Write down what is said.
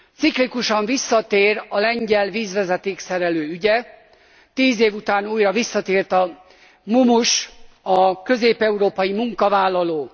Ciklikusan visszatér a lengyel vízvezeték szerelő ügye, 10 év után újra visszatért a mumus, a közép európai munkavállaló.